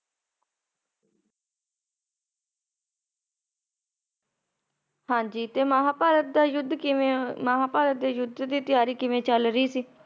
ਹਾਂਜੀ ਤੇ ਮਹਾਭਾਰਤ ਦਾ ਯੁੱਧ ਕਿਵੇਂ ਆ, ਮਹਾਭਾਰਤ ਦੇ ਯੁੱਧ ਦੀ ਤਿਆਰੀ ਕਿਵੇਂ ਚਲ ਰਹੀ ਸੀ ।